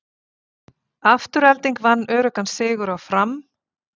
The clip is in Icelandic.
Afturelding vann öruggan sigur á Fram